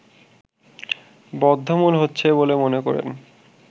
বদ্ধমূল হচ্ছে বলে মনে করেন